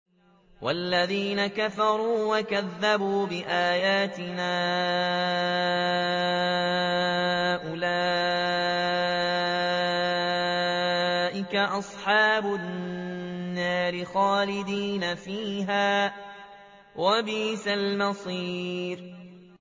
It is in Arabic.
وَالَّذِينَ كَفَرُوا وَكَذَّبُوا بِآيَاتِنَا أُولَٰئِكَ أَصْحَابُ النَّارِ خَالِدِينَ فِيهَا ۖ وَبِئْسَ الْمَصِيرُ